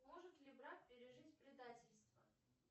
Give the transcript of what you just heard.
может ли брак пережить предательство